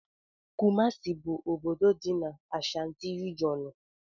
Kumasi bu obodo dị n'Ashantí regionú.